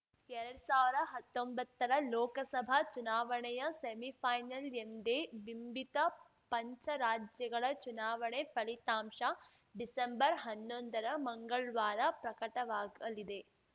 ಎರಡ್ ಸಾವ್ರ ಹತ್ತೊಂಬತ್ತರ ಲೋಕಸಭಾ ಚುನಾವಣೆಯ ಸೆಮಿಫೈನಲ್‌ ಎಂದೇ ಬಿಂಬಿತ ಪಂಚರಾಜ್ಯಗಳ ಚುನಾವಣೆ ಫಲಿತಾಂಶ ಡಿಸೆಂಬರ್ಹನ್ನೊಂದರ ಮಂಗಳ್ವಾರ ಪ್ರಕಟವಾಗಲಿದೆ